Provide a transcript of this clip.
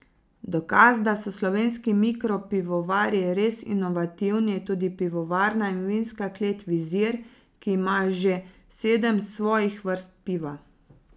Dokaz, da so slovenski mikropivovarji res inovativni, je tudi pivovarna in vinska klet Vizir, ki ima že sedem svojih vrst piva.